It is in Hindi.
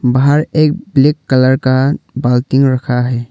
बाहर एक ब्लैक कलर का रखा है।